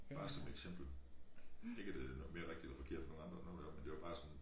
Bare som eksempel ikke at det noget mere rigtigt eller forkert end nogen andre eller noget deroppe men det var bare sådan